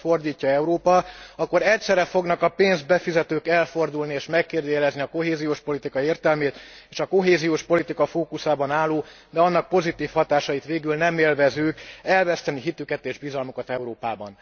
fordítja Európa, akkor egyszerre fognak a pénzt befizetők elfordulni és megkérdőjelezni a kohéziós politika értelmét, és a kohéziós politika fókuszában álló, de annak pozitív hatásait végül nem élvezők elveszteni hitüket és bizalmukat Európában.